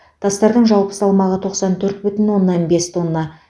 тастардың жалпы салмағы тоқсан төрт бүтін оннан бес тонна